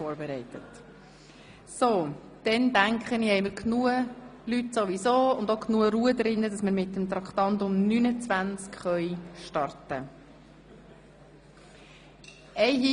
Somit dürften genügend Ratsmitglieder anwesend und genug Ruhe eingekehrt sein, damit wir mit Traktandum 29 beginnen können.